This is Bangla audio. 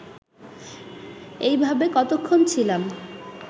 এইভাবে কতক্ষণ ছিলাম